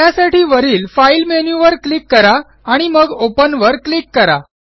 त्यासाठी वरील file menu वर क्लिक करा आणि मग Openवर क्लिक करा